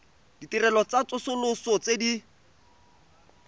ditirelo tsa tsosoloso tse di